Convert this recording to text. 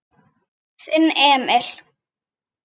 Þinn Emil.